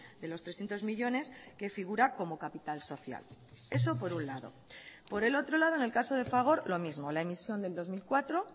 de los trescientos millónes que figura como capital social eso por un lado por el otro lado en el caso de fagor lo mismo la emisión del dos mil cuatro